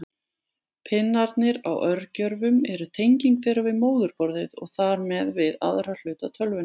Pinnarnir á örgjörvum eru tenging þeirra við móðurborðið og þar með við aðra hluta tölvunnar.